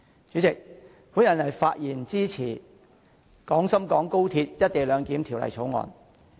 主席，我發言支持《廣深港高鐵條例草案》。